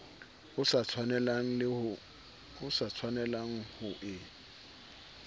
o sa tshwanelang ho e